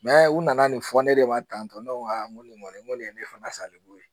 u nana nin fɔ ne de ma tantɔ ne ko aa nko nin ŋɔni ko de ye ne fana salibo ye